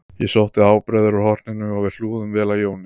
Ég sótti ábreiður úr horninu og við hlúðum vel að Jóni